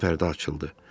Birazdan pərdə açıldı.